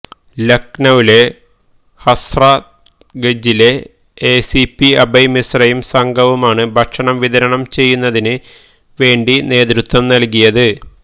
ലഖ്നൌവിലെ ഹസ്രത്ഗഞ്ചിലെ എസിപി അഭയ് മിശ്രയും സംഘവുമാണ് ഭക്ഷണം വിതരണം ചെയ്യുന്നതിന് വേണ്ടി നേത്വത്വം നൽകിയത്